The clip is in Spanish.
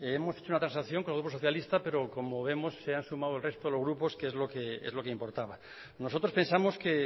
hemos hecho una transacción con el grupo socialista pero como vemos se han sumado el resto de grupos que es lo que importaba nosotros pensamos que